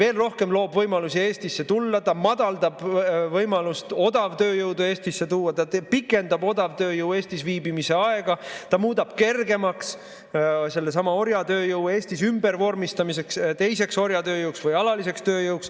See loob võimalusi Eestisse tulemiseks, see võimalust odavtööjõudu Eestisse tuua, see pikendab odavtööjõu Eestis viibimise aega, see muudab kergemaks sellesama orjatööjõu Eestis ümbervormistamiseks teiseks orjatööjõuks või alaliseks tööjõuks.